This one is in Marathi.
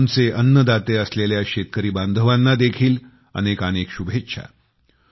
आमचे अन्नदाते असलेल्या शेतकरी बांधवांना देखील अनेकानेक अनेक शुभेच्छा